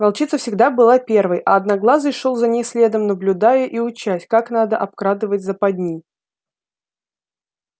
волчица всегда была первой а одноглазый шёл за ней следом наблюдая и учась как надо обкрадывать западни